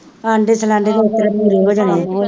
ਆਂਦੇ ਚਲਾਂਦੇ ਪੂਰੇ ਹੋ ਜਾਣੇ,